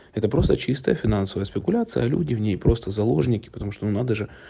это просто чистая финансовая спекуляции а люди в ней просто заложники потому что ну надо же